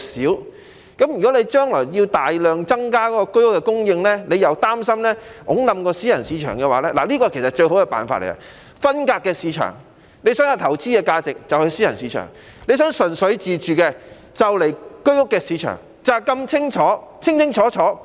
如果他將來因為要大量增加居屋供應，而擔心會推倒私人物業市場的話，最好的辦法其實是將兩個市場分隔，有投資性質的就去私人市場，如果純粹自住的便到居屋的市場，就是如此清楚。